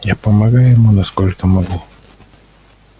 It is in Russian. а я помогаю ему насколько могу